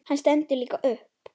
Hann stendur líka upp.